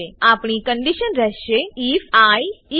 આપણી કંડીશન રહેશે IF I 20